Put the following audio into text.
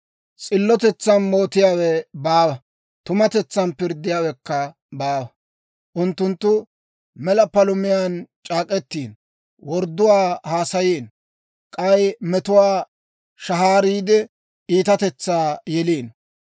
S'illotetsan mootiyaawe baawa; tumatetsan pirddiyaawekka baawa. Unttunttu mela palumiyaan c'eek'ettiino; wordduwaa haasayiino. K'ay metuwaa shahaariide, iitatetsaa yeliino.